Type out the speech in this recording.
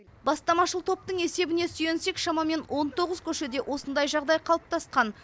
бастамашыл топтың есебіне сүйенсек шамамен он тоғыз көшеде осындай жағдай қалыптасқан